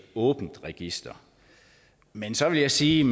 åbent register men så vil jeg sige